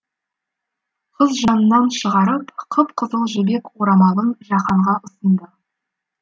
қыз жанынан шығарып қып қызыл жібек орамалын жаһанға ұсынды